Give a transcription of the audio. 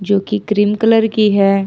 जोकी cream colour की है।